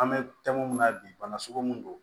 An bɛ tɛmɛn mun na bi bana sugu mun don